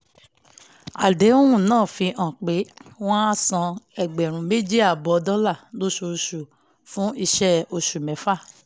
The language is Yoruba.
àdéhùn náà fi hàn pé wọ́n a san ẹ̀gbẹ̀rún méjì àbọ̀ dọ́là lóṣooṣù fún iṣẹ́ oṣù mẹ́fà